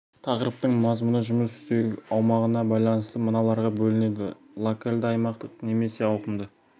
тақырыптың мазмұны жұмыс істеу аумағына байланысты мыналарға бөлінеді локалды аймақтық немесе ауқымды